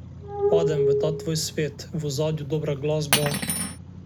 Padem v ta svoj svet, v ozadju dobra glasba ...